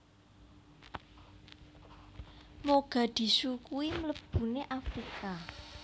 Mogadishu kui mlebune Afrika